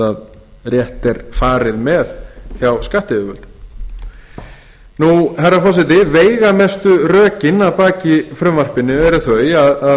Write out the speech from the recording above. rétt er farið með hjá skattyfirvöldum herra forseti veigamestu rökin að baki frumvarpinu eru þau að